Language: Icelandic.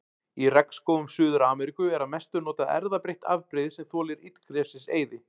Í regnskógum Suður-Ameríku er að mestu notað erfðabreytt afbrigði sem þolir illgresiseyði.